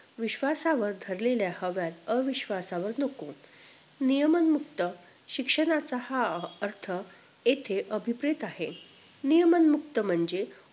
विश्वासावर धरलेल्या हव्या अविश्वासावर नको नियमांमुक्त शिक्षणाचा हा अर्थ इथे अभिप्रेत ते आहे नियमांमुक्त म्हणजे